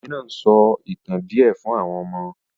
The woman is telling the children some tales